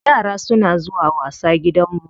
Yara suna zuwa wasa gidanmu.